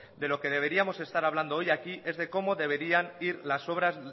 de lo que deberíamos estar hablando hoy aquí es de cómo deberían ir